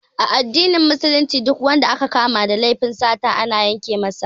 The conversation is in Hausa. A addinin Musulunci Duk wanda aka kama da laifin sata ana yanke masa hannu